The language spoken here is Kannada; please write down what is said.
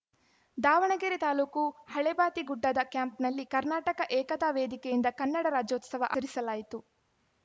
ದಾವಣಗೆರೆ ತಾಲೂಕು ಹಳೇ ಬಾತಿ ಗುಡ್ಡದ ಕ್ಯಾಂಪ್‌ನಲ್ಲಿ ಕರ್ನಾಟಕ ಏಕತಾ ವೇದಿಕೆಯಿಂದ ಕನ್ನಡ ರಾಜ್ಯೋತ್ಸವ ಆಚರಿಸಲಾಯಿತು